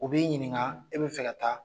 U b'i ɲininka i bɛ fɛ ka taa